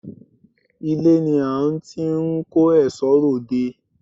Ilé ni à n ti n kó èsó ròde